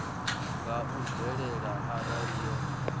nga u bvelela arali yo